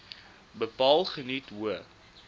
bepaal geniet hoë